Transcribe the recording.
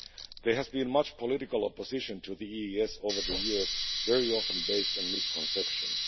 There has been much political opposition to the EES over the years, very often based on misconceptions.